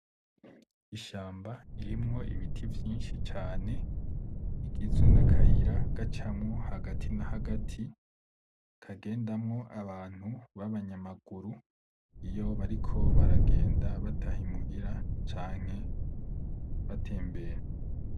Ishamba irimwo ibiti vyinshi cane, igizwe nakayira gacamwo hagati hagati kagendamwo abantu babanyamaguru iyo bariko baragenda bataha imuhira canke batembera.